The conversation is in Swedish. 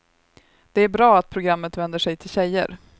Det är bra att programmet vänder sig till tjejer.